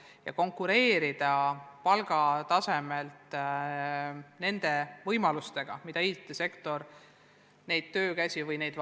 Ja konkureerida palgatasemelt nende võimalustega, mida IT-sektor pakub?